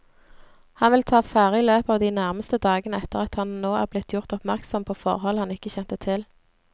Han vil ta affære i løpet av de nærmeste dagene etter at han nå er blitt gjort oppmerksom på forhold han ikke kjente til.